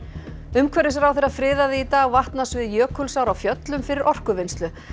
umhverfisráðherra friðaði í dag vatnasvið Jökulsár á Fjöllum fyrir orkuvinnslu